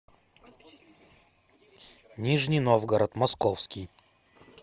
нижний новгород московский